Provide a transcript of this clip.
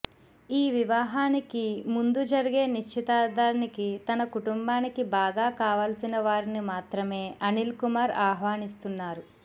ఈ వివాహానికి ముందు జరిగే నిశ్చితార్థానికి తన కుటుంబానికి బాగా కావాల్సిన వారిని మాత్రమే అనిల్ కపూర్ ఆహ్వానిస్తున్నారు